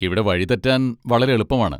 ഇവിടെ വഴി തെറ്റാൻ വളരെ എളുപ്പമാണ്.